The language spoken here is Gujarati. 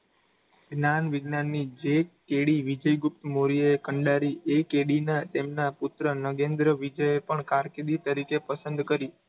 કેડી ગુપ્ત મૌર્યએ કંડારી એ કેડીના તેમના પુત્ર નગેન્દ્ર વિજએ પણ કારકિર્દી તરીકે પસંદ કરી.